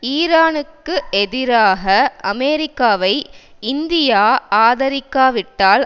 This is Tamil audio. ஈரானுக்கு எதிராக அமெரிக்காவை இந்தியா ஆதரிக்காவிட்டால்